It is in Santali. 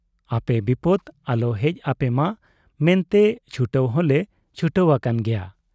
ᱟᱯᱮ ᱵᱤᱯᱚᱫᱽ ᱟᱞᱚ ᱦᱮᱡ ᱟᱯᱮᱢᱟ ᱢᱮᱱᱛᱮ ᱪᱷᱩᱴᱟᱹᱣ ᱦᱚᱞᱮ ᱪᱷᱩᱴᱟᱹᱣ ᱟᱠᱟᱱ ᱜᱮᱭᱟ ᱾